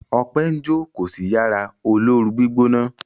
Ope njo ko sí Yàrá olóoru-gbígbóná.